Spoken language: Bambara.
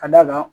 Ka d'a kan